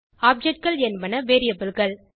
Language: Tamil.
Objectகள் என்பது variableகள்